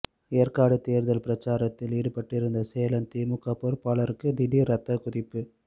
ஏற்காடு தேர்தல் பிரசாரத்தில் ஈடுபட்டிருந்த சேலம் திமுக பொறுப்பாளருக்கு திடீர் ரத்தக் கொதிப்பு